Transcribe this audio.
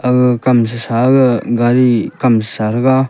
aga kam sasa ga gari kam sasara taga.